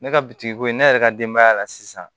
Ne ka bitigi ko ye ne yɛrɛ ka denbaya la sisan